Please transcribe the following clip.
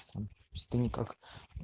пс что никак